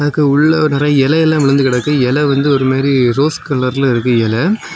இதுக்கு உள்ள நிறைய இலையெல்லாம் விழுந்து கிடக்கு இலை வந்து ஒரு மாரி ரோஸ் கலர்ல இருக்கு இலை.